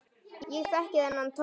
Ég þekki þennan tón.